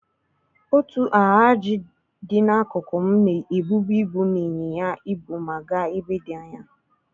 Otu Alhaji dị n'akụkụ m na-ebubu ibu na ịnyịnya ibu ma gaa ebe dị anya.